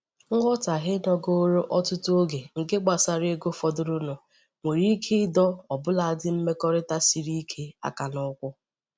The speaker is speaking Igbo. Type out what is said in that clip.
nghọtahie nogoro ọtụtụ oge nke gbasara ego fọdụrụnụ nwere ike ịdọ ọbụladị mmekọrịta siri ike áká n'ụkwụ.